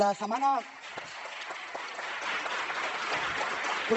la setmana